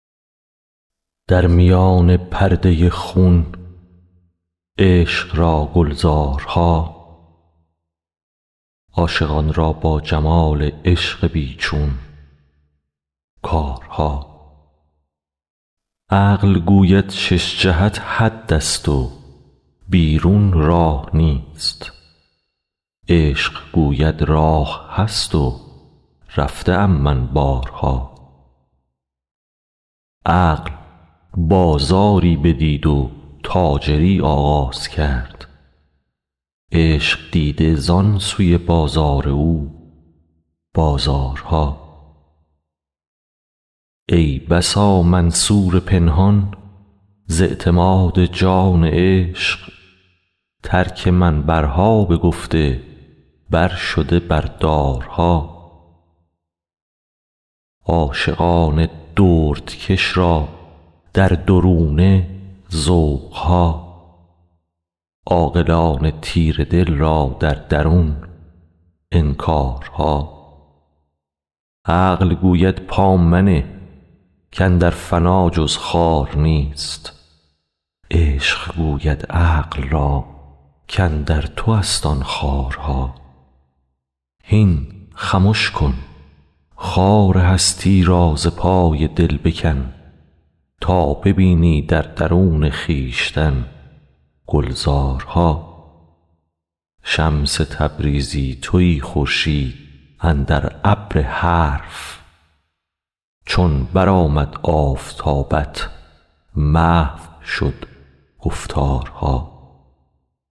در میان پرده خون عشق را گلزارها عاشقان را با جمال عشق بی چون کارها عقل گوید شش جهت حدست و بیرون راه نیست عشق گوید راه هست و رفته ام من بارها عقل بازاری بدید و تاجری آغاز کرد عشق دیده زان سوی بازار او بازارها ای بسا منصور پنهان ز اعتماد جان عشق ترک منبرها بگفته برشده بر دارها عاشقان دردکش را در درونه ذوق ها عاقلان تیره دل را در درون انکارها عقل گوید پا منه کاندر فنا جز خار نیست عشق گوید عقل را کاندر توست آن خارها هین خمش کن خار هستی را ز پای دل بکن تا ببینی در درون خویشتن گلزارها شمس تبریزی تویی خورشید اندر ابر حرف چون برآمد آفتابت محو شد گفتارها